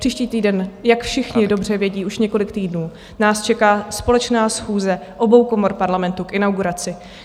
Příští týden, jak všichni dobře vědí už několik týdnů, nás čeká společná schůze obou komor Parlamentu k inauguraci.